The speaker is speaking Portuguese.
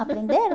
Aprenderam?